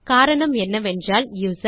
காரணம் என்னவென்றால் யூசர்